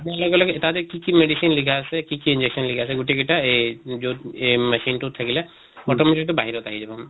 লগে লগে তাতে কি কি machine লিখা আছে, কি কি injection লিখা আছে গোটেই গিটা এহ যʼত এহ machine টো থাকিলে automatic এইটো বাহিৰত আহি যা।